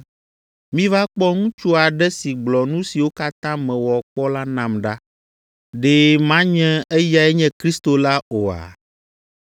“Miva kpɔ ŋutsu aɖe si gblɔ nu siwo katã mewɔ kpɔ la nam ɖa. Ɖe manye eyae nye Kristo la oa?”